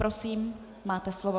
Prosím, máte slovo.